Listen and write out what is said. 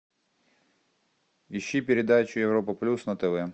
ищи передачу европа плюс на тв